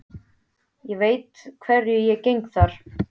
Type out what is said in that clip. Ég veit að hverju ég geng þar.